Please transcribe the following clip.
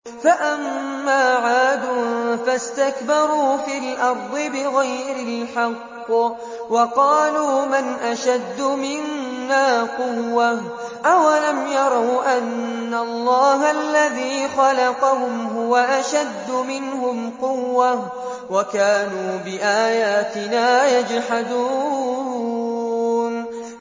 فَأَمَّا عَادٌ فَاسْتَكْبَرُوا فِي الْأَرْضِ بِغَيْرِ الْحَقِّ وَقَالُوا مَنْ أَشَدُّ مِنَّا قُوَّةً ۖ أَوَلَمْ يَرَوْا أَنَّ اللَّهَ الَّذِي خَلَقَهُمْ هُوَ أَشَدُّ مِنْهُمْ قُوَّةً ۖ وَكَانُوا بِآيَاتِنَا يَجْحَدُونَ